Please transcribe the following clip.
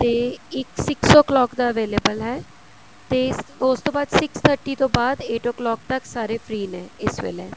ਤੇ ਇੱਕ six of clock ਦਾ available ਹੈ ਤੇ ਇਸ ਉਸ ਤੋਂ ਬਾਅਦ six thirty ਤੋਂ ਬਾਅਦ eight of clock ਤੱਕ ਸਾਰੇ free ਨੇ ਇਸ ਵੇਲੇ